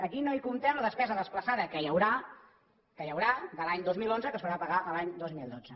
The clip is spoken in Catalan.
aquí no hi comptem la despesa desplaçada que hi haurà que hi haurà de l’any dos mil onze que s’haurà de pagar l’any dos mil dotze